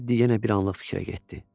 Tedd yenə bir anlıq fikrə getdi.